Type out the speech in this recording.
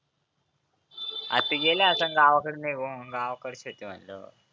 R ती गेले असंन गावाकडे निघून गावाकडच्या होते म्हटल्यावर